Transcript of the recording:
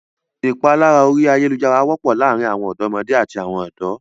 Ìpalára orí ayálujára wọ́pọ̀ láàárin àwọn ọ̀dọ́mọdé àti àwọn ọ̀dọ́.